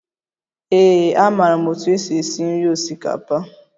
Ee, amaara m otú e si esi nri osikapa